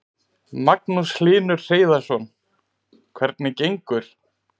Magnús Hlynur Hreiðarsson: Hvernig gengur?